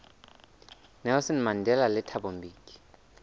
nelson mandela le thabo mbeki